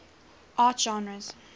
art genres